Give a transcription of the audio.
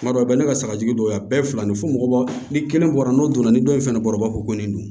Kuma dɔ la bɛɛ ka sagajugu dɔ y'a bɛɛ ye fila ni fo mɔgɔ ni kelen bɔra n'o donna ni dɔ in fɛnɛ kɔrɔba ko ko nin don